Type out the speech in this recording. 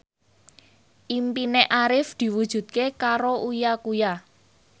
impine Arif diwujudke karo Uya Kuya